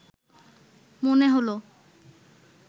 মনে হল